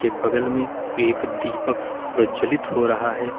बगल में एक दीपक प्रज्वलित हो रहा है।